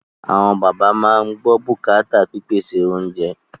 Àwọn bàbá máa ń gbọ́ bùkátà pípèsè oúnjẹ